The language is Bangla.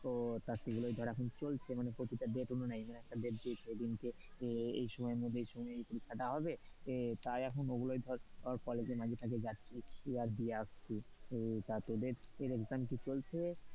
তা গুলোই এখন চলছে মানে প্রতি টা date অনুযায়ী একটা date দেয় সেদিনকে এই সময় মধ্যে এই সময়ের এই পরীক্ষাটা হবে, তাই এখন ওগুলো ধর কলেজে মাঝে তাজে যাচ্ছি, আর দিয়ে আসছি, তা তোদের exam কি চলছে,